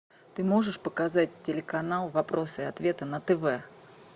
ты можешь показать телеканал вопросы и ответы на тв